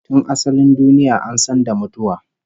Tun asalin duniya an san da mutuwa